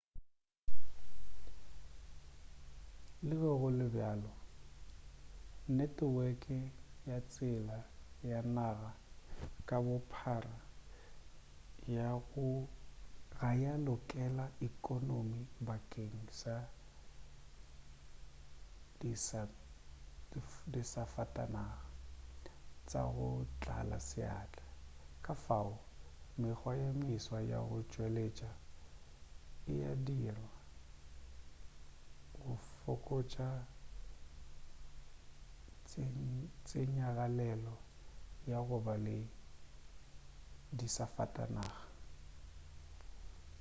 le ge go le bjalo neteweke ya tsela ya naga ka bophara ga ya lokela ekonomi bakeng sa disafatanaga tša go tlala seatla kafao mekgwa ye meswa ya go tšweletša e a dirwa go fokotša tsenyagalelo ya go ba le disafatanaga